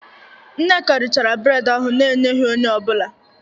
Nneka richachara bred ahụ n'enyeghi onye ọbụla